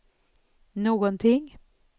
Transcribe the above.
någonting